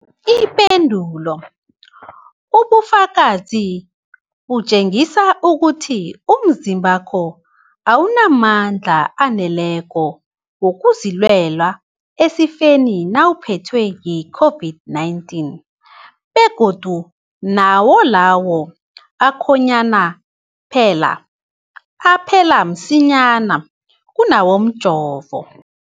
Ipendulo, ubufakazi butjengisa ukuthi umzimbakho awunamandla aneleko wokuzilwela esifeni nawuphethwe yi-COVID-19, begodu nawo lawo akhonyana aphela msinyana kunawomjovo.